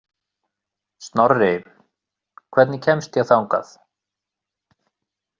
Snorri, hvernig kemst ég þangað?